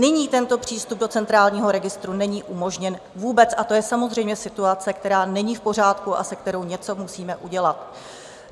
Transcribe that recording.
Nyní tento přístup do Centrálního registru není umožněn vůbec, a to je samozřejmě situace, která není v pořádku a se kterou něco musíme udělat.